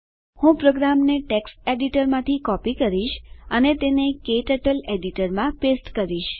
હું પ્રોગ્રામને ટેક્સ્ટ એડીટરમાંથી કોપી કરીશ અને તેને ક્ટર્ટલ એડીટરમાં પેસ્ટ કરીશ